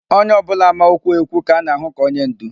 Onye ọ bụla ma okwu ekwu ka a na-ahụ ka onye ndú.